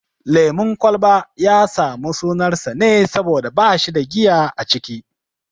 Lemun kwalba ya samu sunar sa ne saboda bashi da giya a ciki